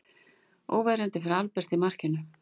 Óverjandi fyrir Albert í markinu.